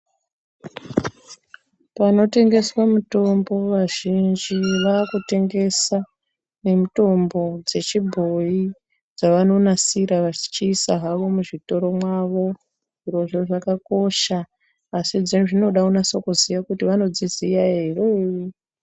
Panotengeswa mitombo vazhinji vakutengesa nemitombo dzechibhoi dzavanonasira vachiisa zvavo muzvitoro mwavo. Zvirozvo zvakakosha asi dzinoda kunase kuziya kuti vanozviziya ere.